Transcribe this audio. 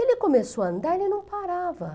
Ele começou a andar e ele não parava.